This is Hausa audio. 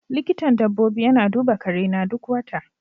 Likitan dabbobi yana duba karena duk wata.